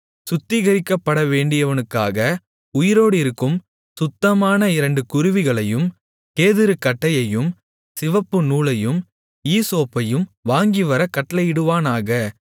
சுத்திகரிக்கப்படவேண்டியவனுக்காக உயிரோடிருக்கும் சுத்தமான இரண்டு குருவிகளையும் கேதுருக் கட்டையையும் சிவப்புநூலையும் ஈசோப்பையும் வாங்கிவரக் கட்டளையிடுவானாக